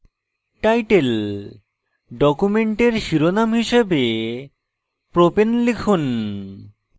titledocument শিরোনাম হিসাবে propane লিখুন